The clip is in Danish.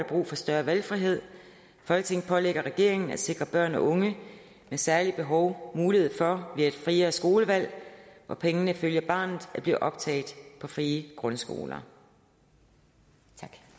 brug for større valgfrihed folketinget pålægger regeringen at sikre børn og unge med særlige behov mulighed for via et friere skolevalg hvor pengene følger barnet at blive optaget på frie grundskoler